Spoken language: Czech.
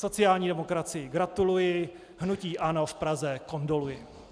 Sociální demokracii gratuluji, hnutí ANO v Praze kondoluji.